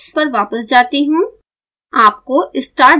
मैं स्लाइड्स पर वापस जाती हूँ